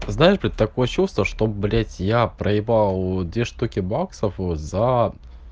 знаешь блядь такое чувство что блять я проебал две штуки баксов вот за